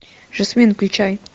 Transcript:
жасмин включай